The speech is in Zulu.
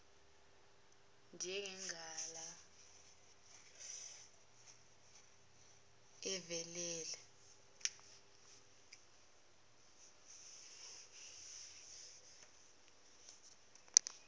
zenja ungalala velewena